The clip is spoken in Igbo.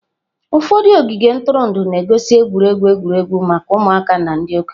Ụfọdụ ogige ntụrụndụ na-egosi egwuregwu egwuregwu maka ụmụaka na ndị okenye.